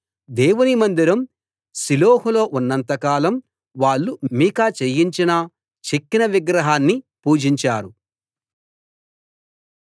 దేవుని మందిరం షిలోహులో ఉన్నంత కాలం వాళ్ళు మీకా చేయించిన చెక్కిన విగ్రహాన్ని పూజించారు